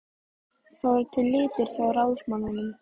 Það voru til litir hjá ráðsmanninum.